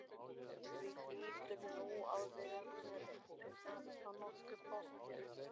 Þú hlýtur nú að vera með þetta nokkuð pottþétt?